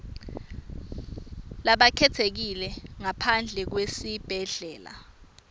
labakhetsekile ngaphandle kwesibhedlela